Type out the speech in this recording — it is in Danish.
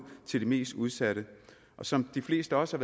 til de mest udsatte som de fleste også